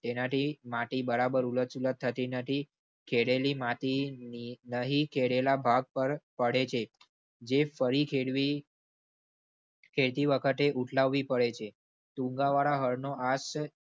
તેનાથી માટી બરાબર ઉલટસુલટ થતી નથી ખેડેલી માટી નહીં કેરેલા ભાગ પર પડે છે. જે ફરી ખેડવી ખેડતી વખતે ઉઠાવવી પડે છે. તુંન્ગાવાળા હળનો આજ.